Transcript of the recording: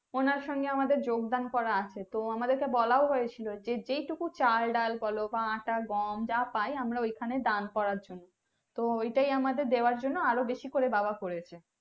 ওনার সঙ্গে আমাদের যোগদান করা আছে তো আমাদেরকে বলেও হয়েছিল যে যেটুকু চাল ডাল বলো বা আটা গম যা পাই আমরা ওখানে দান করার জন্য তো ওটাই ওখানে দেয়ার জন্য বাবা বেশি করে করেছে।